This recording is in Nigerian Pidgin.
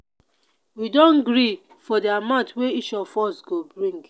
we don gree for di amount wey each of us go bring.